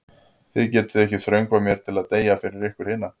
Þið getið ekki þröngvað mér til að deyja fyrir ykkur hina.